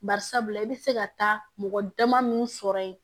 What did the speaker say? Bari sabula i bɛ se ka taa mɔgɔ dama min sɔrɔ yen